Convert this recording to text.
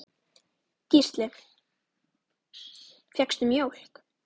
Gísli: Fékkstu mjólk?